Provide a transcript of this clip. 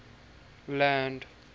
land